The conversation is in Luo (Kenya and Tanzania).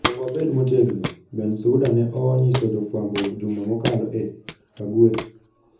Onego wabed motegno, Bensouda ne onyiso jofwambo juma mokalo e Hague.